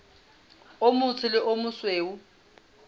o motsho le o mosweu